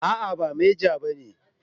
A'a ba meja bane